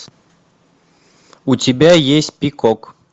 у тебя есть пикок